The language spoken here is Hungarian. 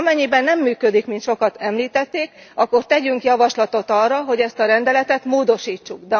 Amennyiben nem működik, mint sokan említették, akkor tegyünk javaslatot arra, hogy ezt a rendeletet módosítsuk.